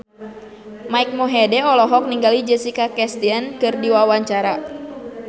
Mike Mohede olohok ningali Jessica Chastain keur diwawancara